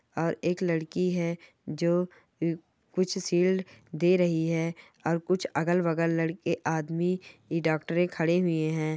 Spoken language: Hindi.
और एक लड़की है जो अ कुछ शील्ड दे रही है और कुछ अगल-बगल लड़के आदमी इ डॉक्टरे खड़े हुए है।